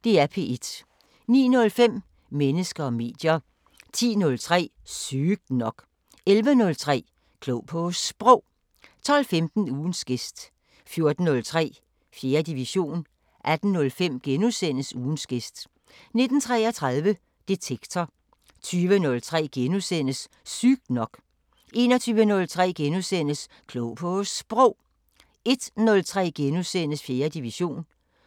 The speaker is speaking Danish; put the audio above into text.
09:05: Mennesker og medier 10:03: Sygt nok 11:03: Klog på Sprog 12:15: Ugens gæst 14:03: 4. division 18:05: Ugens gæst * 19:33: Detektor 20:03: Sygt nok * 21:03: Klog på Sprog * 01:03: 4. division *